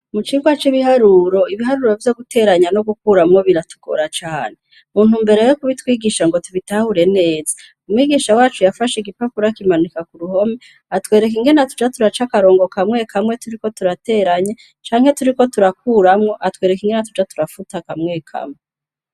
Mu cirwa c'ibiharuro, ibiharura vyo guteranya no gukuramwo biratugira cane. Mu ntumbero yo kubitwigisha ngo tubitahure neza, umwigisha wacu yafashe igipapuro akimanika kuruhome atwerek'ingene tuza turac'akarongo kamwe kamwe turiko turateranya canke turiko turakuramwo atwereka ingene twoza turafuta kamwe kamwe.